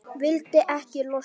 Vildi ekki losna.